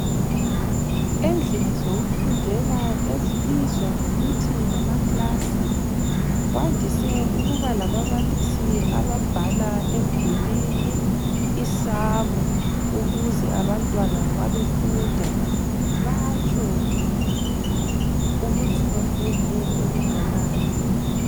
Endlini zokufundela ezibizwa ngokuthi ngama klasi, kwandise ukuba lababalisi ababhala emdulini isamu ukuze abantwana nxa befunda, batsho ukuthi bafunde okunganani.